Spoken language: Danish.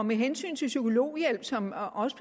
med hensyn til psykologhjælp som også